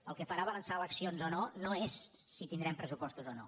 el que farà avançar eleccions o no no és si tindrem pressupostos o no